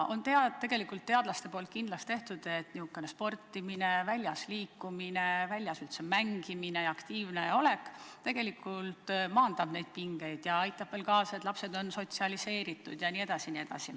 Teadlased on kindlaks teinud, et sportimine, väljas liikumine, üldse väljas mängimine ja aktiivne olek maandab neid pingeid ja aitab veel kaasa, et lapsed oleksid sotsialiseeritud jne.